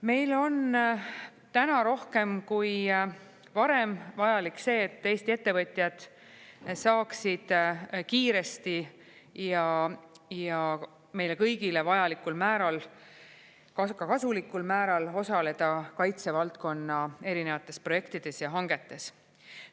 Meil on täna rohkem kui varem vajalik see, et Eesti ettevõtjad saaksid kiiresti ja meile kõigile vajalikul määral, ka kasulikul määral osaleda kaitsevaldkonna erinevates projektides ja hangetes.